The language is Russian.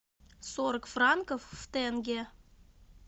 сорок франков в тенге